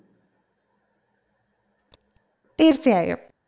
തീർച്ചയായും